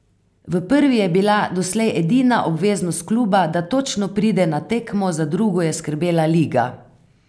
V prvi je bila doslej edina obveznost kluba, da točno pride na tekmo, za drugo je skrbela liga.